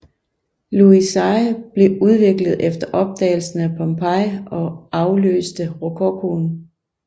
Louis seize blev udviklet efter opdagelsen af Pompeii og afløste rokokoen